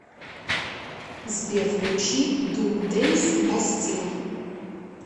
сбер включи дум дэйс бастил